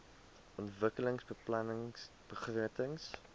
ontwikkelingsbeplanningbegrotings